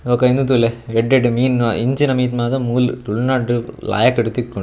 ಬೊಕ್ಕ ಇಂದು ತೂಲೆ ಎಡ್ಡೆಡ್ಡೆ ಮೀನ್ ಇಂಚಿನ ಮೀನ್ ಮಾತ ಮೂಲು ತುಲುನಾಡ್ ಡ್ ಲಾಯ್ಕ್ ತಿಕ್ಕುಂಡ್ --